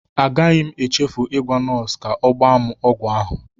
Agaghị m echefu ịgwa nọọsụ ka o gba m ọgwụ ahụ.